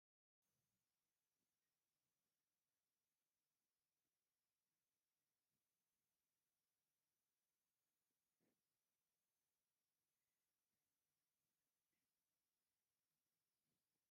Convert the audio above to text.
ሰማያዊን ሃሳስ ሰማያዊ ፃዕዳ ሕብሪ ዘለዎን ፅላላት ኮይነን ከፍ መበዚ ወንበራትን ደስዝብል ምግብታት ዘለዎ እዩ። እንታይ ይብሃል ይመስለኩም ሽሙ እቱይ ሆቴል?